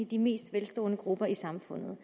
de mest velstående grupper i samfundet